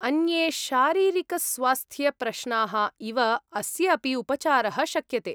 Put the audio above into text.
अन्ये शारीरिकस्वास्थ्यप्रश्नाः इव अस्य अपि उपचारः शक्यते।